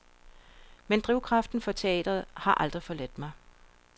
Men drivkraften for teatret har aldrig forladt mig.